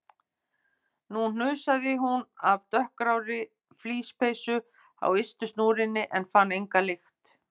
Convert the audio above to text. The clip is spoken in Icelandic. Nú hnusaði hún af dökkgrárri flíspeysu á ystu snúrunni en fann enga lykt.